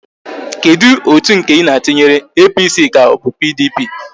Kedu otu nke Ị na-atụnyere, APC ka ọ bụ PDP?